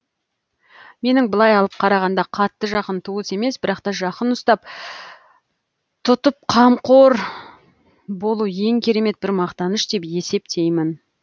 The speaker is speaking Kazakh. менің былай алып қарағанда қатты жақын туыс емес бірақ та жақын ұстап тұтып қамқор болу ең керемет бір мақтаныш деп есептеймін